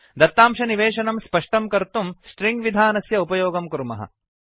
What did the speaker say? दत्तांशनिवेशनं स्पष्टं कर्तुं स्ट्रिङ्ग् विधानस्य उपयोगं कुर्मः